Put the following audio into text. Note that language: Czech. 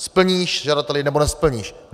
Splníš, žadateli, nebo nesplníš.